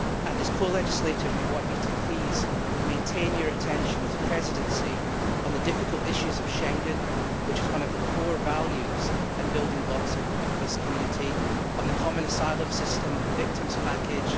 As co legislators, we want you to please maintain your attention as a Presidency on the difficult issues of Schengen one of the core values and building blocks of this Community the common asylum system and the victims package.